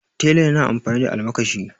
tela yana amfani da almakashi